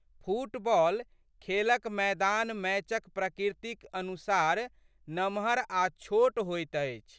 Football खेलक मैदान मैचक प्रकृतिक अनुसार नमहर आ छोट होइत अछि।